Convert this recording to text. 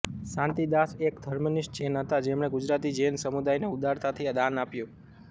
શાંતિદાસ એક ધર્મનિષ્ઠ જૈન હતા જેમણે ગુજરાતી જૈન સમુદાયને ઉદારતાથી દાન આપ્યું